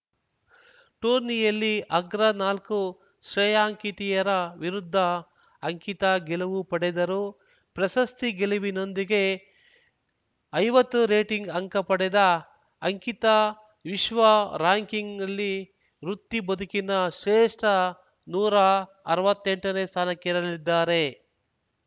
ಟೂರ್ನಿಯಲ್ಲಿ ಅಗ್ರ ನಾಲ್ಕು ಶ್ರೇಯಾಂಕಿತೆಯರ ವಿರುದ್ಧ ಅಂಕಿತಾ ಗೆಲುವು ಪಡೆದರು ಪ್ರಶಸ್ತಿ ಗೆಲುವಿನೊಂದಿಗೆ ಐವತ್ತು ರೇಟಿಂಗ್‌ ಅಂಕ ಪಡೆದ ಅಂಕಿತಾ ವಿಶ್ವ ರಾರ‍ಯಂಕಿಂಗ್‌ನಲ್ಲಿ ವೃತ್ತಿ ಬದುಕಿನ ಶ್ರೇಷ್ಠ ನೂರಾ ಅರ್ವತ್ತೆಂಟನೇ ಸ್ಥಾನಕ್ಕೇರಲಿದ್ದಾರೆ